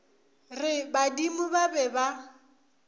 re badimo ba be ba